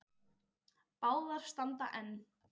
Báðar standa enn.